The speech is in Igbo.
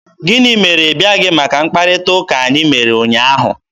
Gịnị mere ị bịaghị maka mkparịta ụka anyị mere ụnyaahụ?